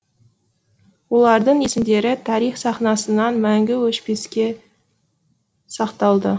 олардың есімдері тарих сахнасынан мәңгі өшпеске сақталды